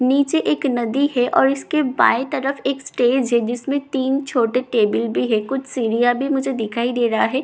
नीचे एक नदी है और इसके बाएं तरफ एक स्टेज है जिसमे तीन छोटे टेबल भी हैं कुछ सीढ़िया भी मुझे दिखाई दे रहा है कुछ--